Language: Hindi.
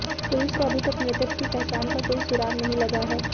पुलिस को अभी तक मृतक की पहचान का कोई सुराग नहीं लगा है